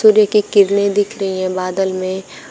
सूर्य की किरणें दिख रही है बादल में।